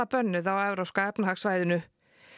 bönnuð á Evrópska efnahagssvæðinu